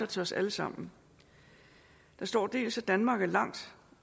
til os alle sammen der står danmark er langt